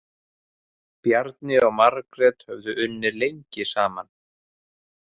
Bjarni og Margrét höfðu unnið lengi saman.